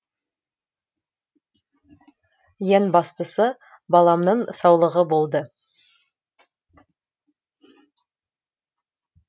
ең бастысы баламның саулығы болды